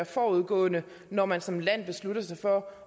forud når man som land beslutter sig for